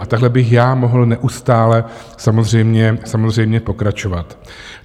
A takhle bych já mohl neustále samozřejmě pokračovat.